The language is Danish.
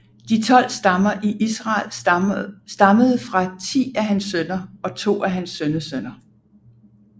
De tolv stammer i Israel stammede fra ti af hans sønner og to af hans sønnesønner